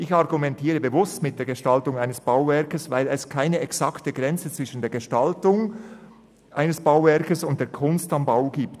Ich argumentiere bewusst mit der Gestaltung eines Bauwerks, weil es keine exakte Grenze zwischen jener und der «Kunst am Bau» gibt.